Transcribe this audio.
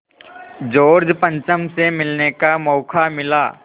George पंचम से मिलने का मौक़ा मिला